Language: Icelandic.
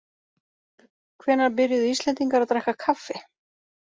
Hvenær byrjuðu Íslendingar að drekka kaffi?